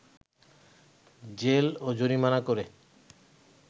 jail ও জরিমানা করে